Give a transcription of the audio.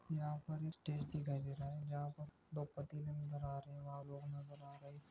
यहा पर एक स्टेज दिखाई दे रहा है जहा पर दो पतीले नजर आरहे वहा लोग नज़र आ रहे।